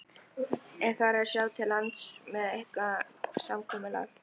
Er farið að sjá til lands með eitthvað samkomulag?